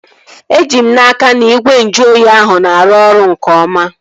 Eji m n'aka, na igwe nju oyi ahụ na-arụ ọrụ nke oma